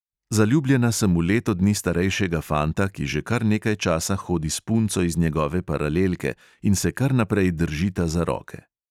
Zaljubljena sem v leto dni starejšega fanta, ki že kar nekaj časa hodi s punco iz njegove paralelke in se kar naprej držita za roke.